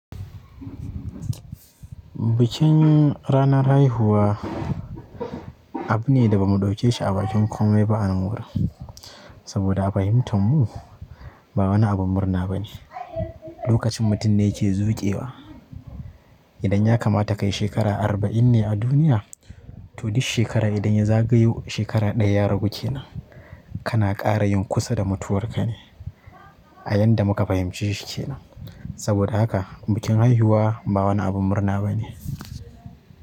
Bikin ranar haihuwa abu ne da ba mu ɗauke shi a bakin komai ba a unguwar mu. Saboda a fahimtar mu ba wani abun murna bane. Lokacin mutum ne yake zukewa. Idan ya kamata ka yi shekara arba'in ne a duniya, to duk shekara idan ya zagayo shekara ɗaya ya ragu kenan, kana ƙara yin kusa da mutuwar ka ne, a yanda muka fahimce shi kenan. Saboda haka bikin haihuwa ba wani abun murna bane.